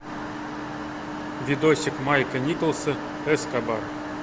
видосик майкла николса эскобар